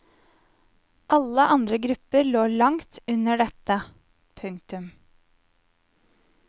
Alle andre grupper lå langt under dette. punktum